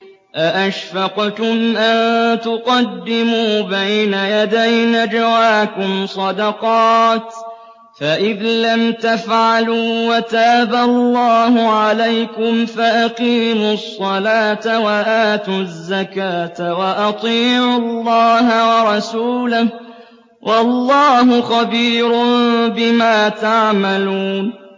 أَأَشْفَقْتُمْ أَن تُقَدِّمُوا بَيْنَ يَدَيْ نَجْوَاكُمْ صَدَقَاتٍ ۚ فَإِذْ لَمْ تَفْعَلُوا وَتَابَ اللَّهُ عَلَيْكُمْ فَأَقِيمُوا الصَّلَاةَ وَآتُوا الزَّكَاةَ وَأَطِيعُوا اللَّهَ وَرَسُولَهُ ۚ وَاللَّهُ خَبِيرٌ بِمَا تَعْمَلُونَ